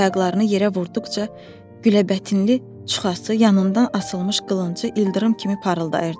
At ayaqlarını yerə vurduqca gülləbətinli çuxası yanından asılmış qılıncı ildırım kimi parıldayırdı.